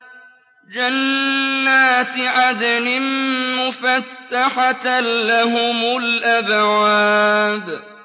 جَنَّاتِ عَدْنٍ مُّفَتَّحَةً لَّهُمُ الْأَبْوَابُ